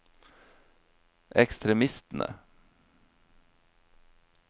ekstremistene